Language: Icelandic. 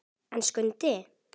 En Skundi!